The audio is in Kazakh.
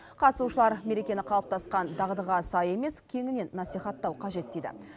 қатысушылар мерекені қалыптасқан дағдыға сай емес кеңінен насихаттау қажет дейді